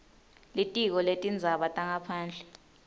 litiko letindzaba tangaphandle